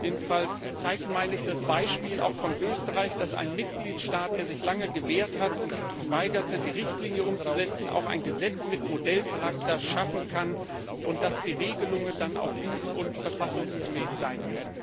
Jedenfalls zeigt auch das Beispiel von Österreich, dass ein Mitgliedstaat, der sich lange gewehrt und geweigert hat, die Richtlinie umzusetzen, auch ein Gesetz mit Modellcharakter schaffen kann und dass die Regelungen dann auch gut und verfassungsgemäß sein